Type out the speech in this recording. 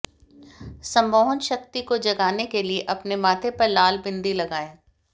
सम्मोहन शक्ति को जगाने के लिए अपने माथे पर लाल बिंदी लगाएं